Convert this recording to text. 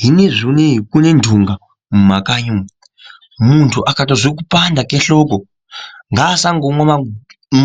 Zvinezvi unei kune nhunga muntu asangoti akarwara ongomwa